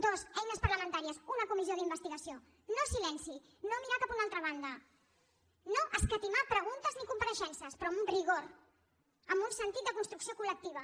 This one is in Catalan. dos eines parlamentàries una comissió d’investigació no silenci no mirar cap a una altra banda no escatimar preguntes ni compareixences però amb rigor amb un sentit de construcció col·lectiva